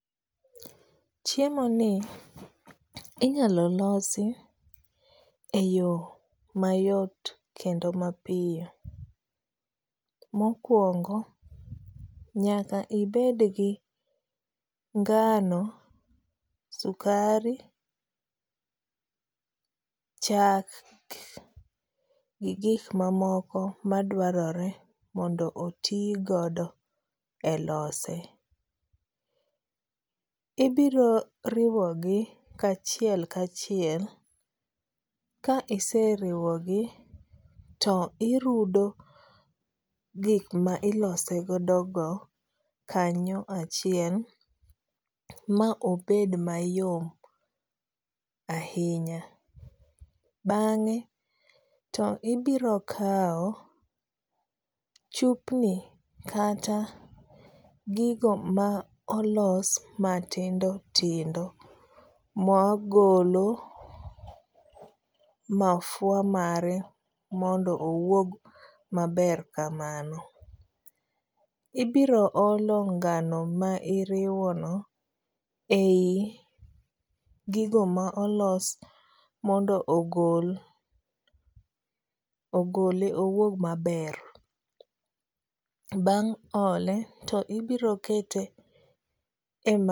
Chiemoni inyalo losi eyo mayot kendo mapiyo. Mokuongo nyaka ibed gi ngano, sukari, chak gi gik mamoko madwarore mondo otigodo elose. Ibiro riwogi kachiel kachiel ka iseriwgi to irudo gik mailose godogo kanyo achiel ma obed mayom ahinya. Bang'e to ibiro kawo chupni kata gigo ma olos matindo tindo magolo mafua mare mondo owuog maber kamano. Ibiro olo ngano ma iriwono ei gigo ma olos mondo ogol ogole owuog maber. Bang' ole to ibiro kete e